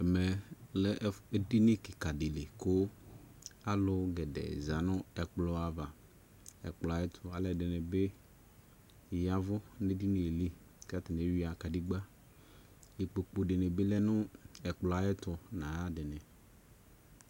Ɛmɛ lɛ edini kika de li ko alu gɛdɛɛ za no ɛkplɔ ava Ɔkplɔ ayeto alɛde ne be yavu ne dinie li ka atane emu nahla nava ke wia kedegba Ikpokpu de be lɛ no ɛkplɔ ayeto na yade ne